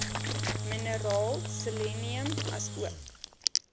mineraal selenium asook